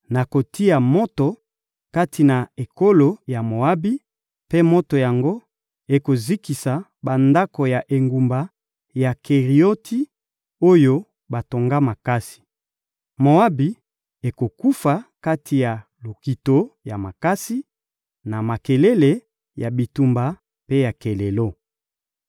Nakotia moto kati na ekolo ya Moabi, mpe moto yango ekozikisa bandako ya engumba ya Kerioti, oyo batonga makasi. Moabi ekokufa kati na lokito ya makasi, na makelele ya bitumba mpe ya kelelo.